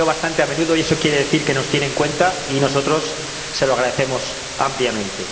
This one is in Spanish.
La veo bastante a menudo y eso quiere decir que nos tiene en cuenta, y nosotros se lo agradecemos ampliamente.